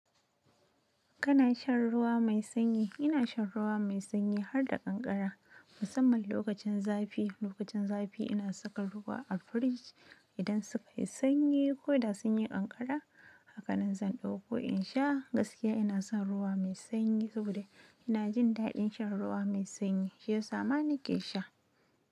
Kana shan ruwa mai sanyi? Ina shan ruwa mai sanyi har da kankara musamman lokacin zafi. Lokacin zafi ina saka ruwa a fridge idan suka yi sanyi ko da sunyi ƙanƙara hakanan zan dauko insha gaskiya inason ruwa me sanyi saboda ina jin daɗin shan ruwa me sanyi shiyasa ma nake sha.